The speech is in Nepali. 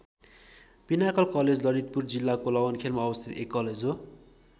पिनाकल कलेज ललितपुर जिल्लाको लगनखेलमा अवस्थित एक कलेज हो।